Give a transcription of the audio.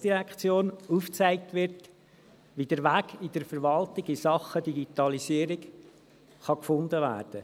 der GSI aufgezeigt wird, wie der Weg in Sachen Digitalisierung in der Verwaltung gefunden werden kann.